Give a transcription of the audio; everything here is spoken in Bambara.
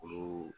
Olu